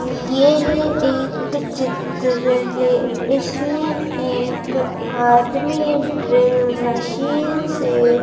यह एक चित्र है इसमें एक आदमी ड्रिल मशीन से --